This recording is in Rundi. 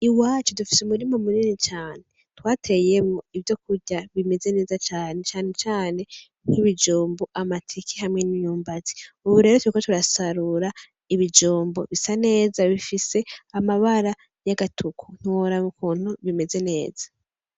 Iwacu dufise umurima munini cane twateyemwo ivyokurya bimeze neza cane , cane cane nkibijumbu, amateke hamwe nimyumbati , ubu rero turiko turasarura ibijumbu bisa neza bifise amabara yagatuku, ntiworaba ukuntu bimeze neza .